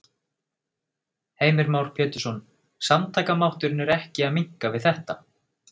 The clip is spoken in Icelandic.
Heimir Már Pétursson: Samtakamátturinn er ekki að minnka við þetta?